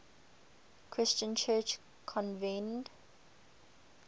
christian church convened